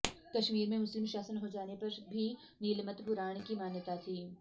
कश्मीर मे मुस्लिम शासन हो जाने पर भी नीलमत पुराण की मान्यता थी